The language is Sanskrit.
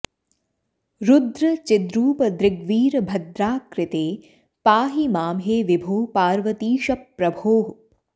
रुद्र चिद्रूपदृग्वीरभद्राकृते पाहि मां हे विभो पार्वतीश प्रभो